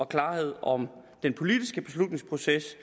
klarhed om den politiske beslutningsproces